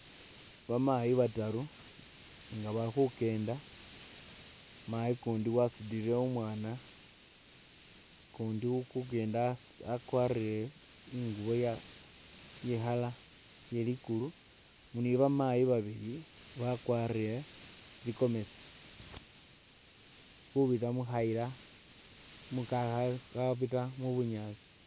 Bamayi bataru nga bali khukenda, mayi ukundi wasutile umwana ukundi uli khekeenda akwarire ingubo ye i'colour iye ligulu. Ne ba maayi babile bakwarire tsigomesi bali khubira mukhayila khabira mu bunyaasi.